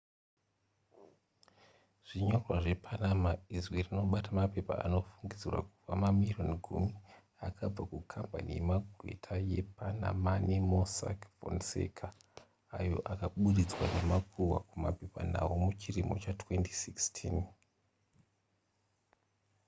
"zvinyorwa zvepanama izwi rinobata mapepa anofungidzirwa kuva mamirioni gumi akabva kukambani yemagweta yepanamani mossack fonseca, ayo akaburitswa nemakuhwa kumapepanhau muchirimo cha2016